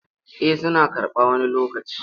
Eh suna karɓa wani lokacin.